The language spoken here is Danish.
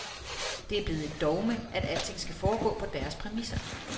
Det er blevet et dogme, at alting skal foregå på deres præmisser.